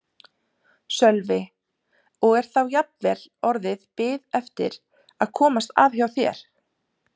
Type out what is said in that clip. Sölvi: Og er þá jafnvel orðin bið eftir að komast að hjá þér?